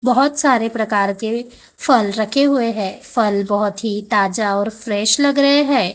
बहुत सारे प्रकार के फल रखे हुए हैं फल बहुत ही ताजा और फ्रेश लग रहे है।